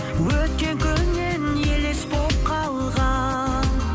өткен күннен елес болып қалған